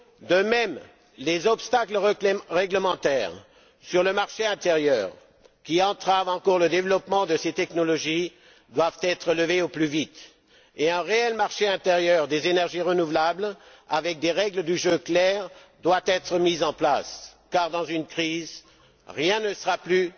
De même, les obstacles réglementaires sur le marché intérieur, qui entravent encore le développement de ces technologies, doivent être levés au plus vite, et un réel marché intérieur des énergies renouvelables, avec des règles du jeu claires, doit être mis en place car, dans une crise, rien ne sera plus